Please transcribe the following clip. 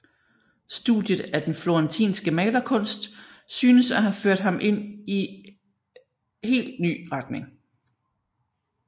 Studiet af den florentinske malerkunst synes at have ført ham ind i hel ny retning